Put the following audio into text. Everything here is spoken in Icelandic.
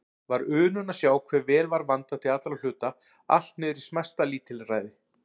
Var unun að sjá hve vel var vandað til allra hluta, allt niðrí smæsta lítilræði.